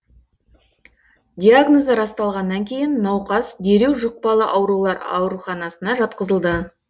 диагнозы расталғаннан кейін науқас дереу жұқпалы аурулар ауруханасына жатқызылды